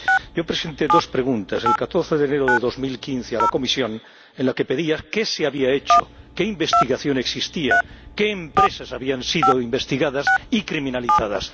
Yo presenté dos preguntas el 14 de enero de 2015 a la Comisión en las que preguntaba qué se había hecho, qué investigación existía, qué empresas habían sido investigadas y criminalizadas.